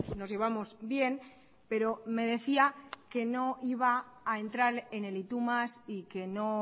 nos llevamos bien pero me decía que no iba a entrar en el y tú más y que no